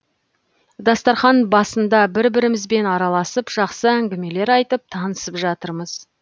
дастархан басында бір бірімізбен араласып жақсы әңгімелер айтып танысып жатырмыз